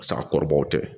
Sa kɔrɔbaw tɛ